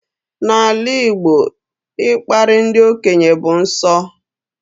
N'ala Igbo, ịkparị ndị okenye bụ nsọ